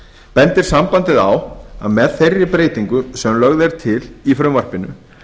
bendir sambandið á að með þeirri breytingu sem lögð er til í frumvarpinu